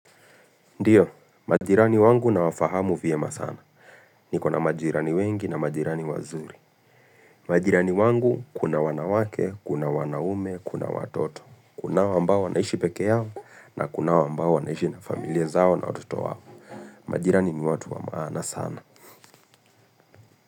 Ndiyo, majirani wangu na wafahamu vyema sana. Nikona majirani wengi na majirani wazuri. Majirani wangu kuna wanawake, kuna wanaume, kuna watoto. Kuna wa ambao wanaishi pekee yao na kuna wambao wanaishi na familia zao na wototo wao. Majirani ni watu wa maana sana.